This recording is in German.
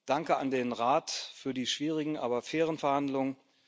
Danke an den Rat für die schwierigen, aber fairen Verhandlungen.